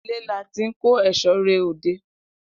Ile la ti n ko eso re ode.